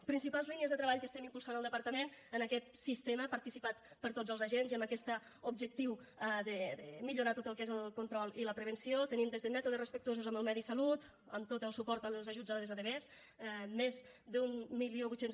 principals línies de treball que estem impulsant al departament en aquest sistema participat per tots els agents i amb aquest objectiu de millorar tot el que és el control i la prevenció tenim des de mètodes respectuosos amb el medi i la salut amb tot el suport i els ajuts a les adv més d’mil vuit cents